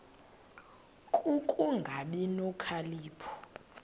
ku kungabi nokhalipho